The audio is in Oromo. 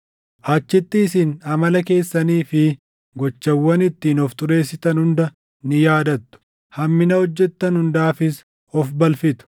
Achitti isin amala keessanii fi gochawwan ittiin of xureessitan hunda ni yaadattu; hammina hojjettan hundaafis of balfitu.